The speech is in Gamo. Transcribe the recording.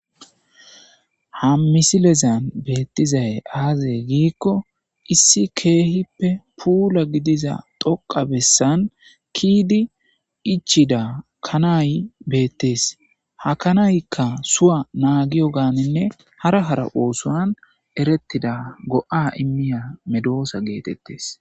ha misilezan beettizay aazay giikko issi keehippe puula gidiza dhoqa bessan ke'di ichida kanaay beettes ha kanaykka suwa naagiyo gaaninne hara hara oosoan erettida go7a immiya medoosa geetettes